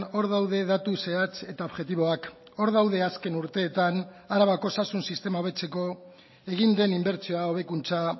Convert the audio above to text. hor daude datu zehatz eta objektiboak hor daude azken urteetan arabako osasun sistema hobetzeko egin den inbertsioa hobekuntza